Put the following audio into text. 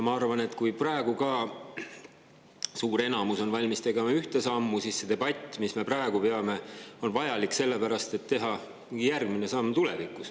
Ma arvan, et kui praegu on suur enamus valmis tegema ühte sammu, siis see debatt, mida me praegu peame, on vajalik selle jaoks, et teha tulevikus järgmine samm.